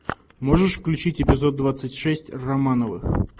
можешь включить эпизод двадцать шесть романовых